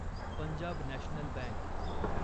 Punjab National bank